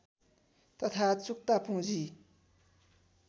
तथा चुक्ता पूँजी